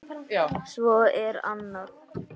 Svo er annað.